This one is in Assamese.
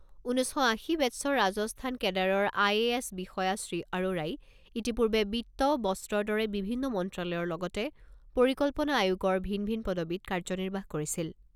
ঊনৈছ শ আশী বেটছৰ ৰাজস্থান কেডাৰৰ আই এ এছ বিষয়া শ্ৰী আৰোৰাই ইতিপূৰ্বে বিত্ত, বস্ত্ৰৰ দৰে বিভিন্ন মন্ত্ৰালয়ৰ লগতে পৰিকল্পনা আয়োগৰ ভিন ভিন পদবীত কাৰ্যনিৰ্বাহ কৰিছিল।